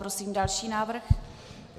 Prosím další návrh.